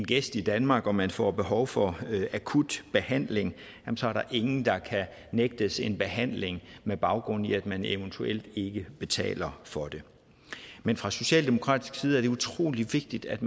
gæst i danmark og man får behov for akut behandling så er der ingen der kan nægtes en behandling med baggrund i at man eventuelt ikke betaler for det men fra socialdemokratisk side er det utrolig vigtigt at